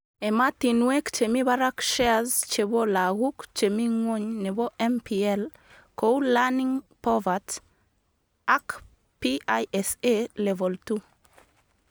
Ematinwek chemi barak shares chebo laguk chemi ngwony nebo MPL,kou Learning Povert ak PISA Level 2